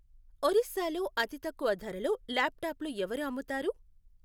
ఒరిస్సాలో అతి తక్కువ ధరలో ల్యాప్టాప్లు ఎవరు అమ్ముతారు?